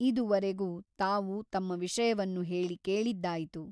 ಇದುವರೆಗೂ ತಾವು ತಮ್ಮ ವಿಷಯವನ್ನು ಹೇಳಿ ಕೇಳಿದ್ದಾಯಿತು.